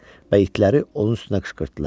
Və itləri onun üstünə qışqırtdılar.